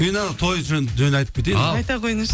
мен ана той жөнінде айтып кетейін ал айта қойыңызшы